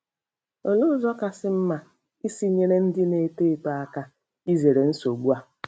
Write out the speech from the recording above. Olee ụzọ kasị mma isi nyere ndị na - eto eto aka izere nsogbu a?